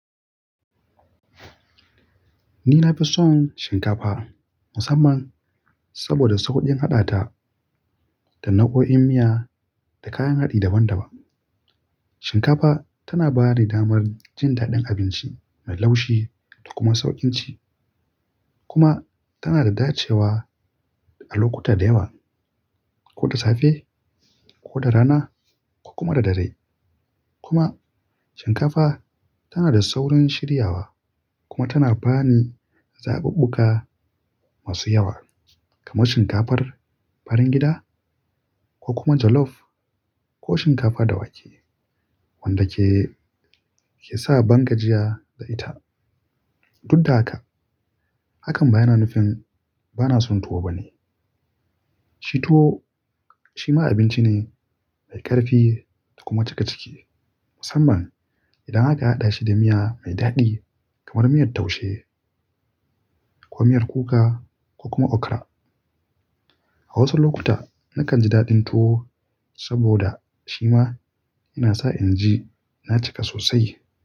Ni na fi son shinkafa musamman saboda sauƙin haɗa ta da nau'o'in miya da kayan haɗi daban-daban. Shinkafa tana ba ni damar jin daɗin abinci mai laushi da kuma sauƙin ci, kuma tana da dacewa a lokuta da yawa, ko da safe, ko da rana, ko kuma da dare. Kuma shinkafa tana da saurin shiryawa kuma tana ba ni zaɓuɓɓuka masu yawa kamar shinkafar farin gida ko kuma jollof ko shinkafa da wake wanda ke, ke sa bangajiya da ita. Dukka haka, hakan ba yana nufin ba na son tuwo bane. Tuwo shi ma abinci ne mai ƙarfi da kuma cika ciki musamman idan aka haɗa shi da miya mai daɗi kamar miyar taushe ko miyar kuka ko kuma okra. A wasu lokuta nakan ji daɗin tuwo saboda shi ma yana sa in ji na cika sosai.